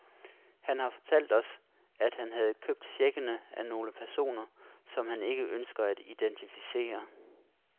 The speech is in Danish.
Han har fortalt os, at han havde købt checkene af nogle personer, som han ikke ønsker at identificere.